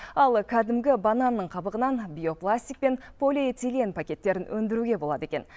ал кәдімгі бананның қабығынан биопластик пен полиэтилен пакеттерін өндіруге болады екен